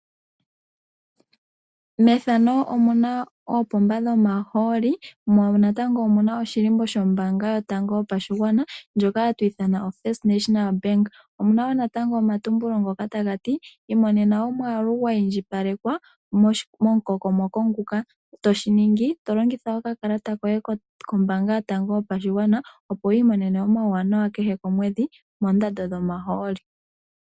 Oopomba dhomahooli no shilimbo shombanga ndjoka hatuyi ithana oFist National Bank omuna wo omatumbulo ngoka taga ti imonena omwaalu gwa iindjipalelwa momu kokomoko nguka toshi ningi to longitha okakalata koye kombanga yotango yopashigwana opo wi imonene omawuwanawa kehe komwedhi moondando dhomahooli.